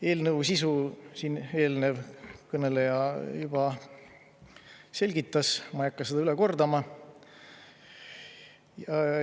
Eelnõu sisu siin eelnev kõneleja juba selgitas, ma ei hakka seda üle kordama.